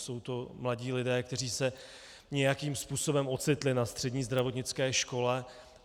Jsou to mladí lidé, kteří se nějakým způsobem ocitli na střední zdravotnické škole.